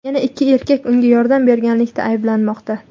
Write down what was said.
Yana ikki erkak unga yordam berganlikda ayblanmoqda.